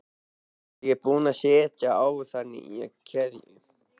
Ég er búin að setja á það nýja keðju